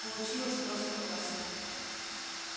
получилось просто класс